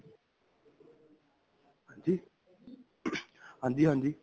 ਹਾਂਜੀ? ਹਾਂਜੀ, ਹਾਂਜੀ.